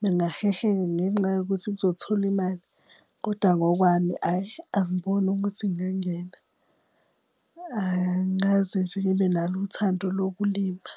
bengaheheka ngenxa yokuthi kuzotholwi imali. Koda ngokwami ayi, angiboni ukuthi ngingangena, angikaze nje ngibe nalo uthando lokulima.